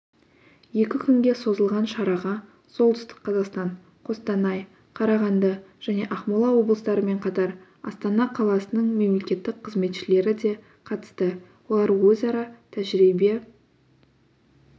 екі күнге созылған шараға солтүстік қазақстан қостанай қарағанды және ақмола облыстарымен қатар астана қаласының мемлекеттік қызметшілері де қатысты олар өзара тәжірибе